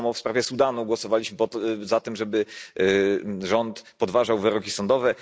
Tak samo w sprawie Sudanu głosowaliśmy za tym, żeby rząd podważał wyroki sądowe.